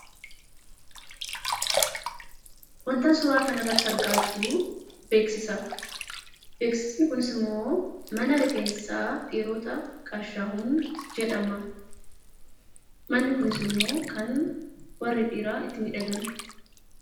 Waanti ani suuraa kana irratti argaa jiru beeksisadha. Beeksisni kunis, immoo mana rifeensa dhiirotaa Gaashaahuuneny jedhama. Mana kanattis immoo iddoo itti dhiironni miidhaganidha.